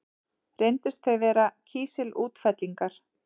Reyndust þau vera kísilútfellingar.